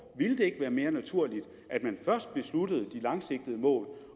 ville det ikke være mere naturligt at man først besluttede de langsigtede mål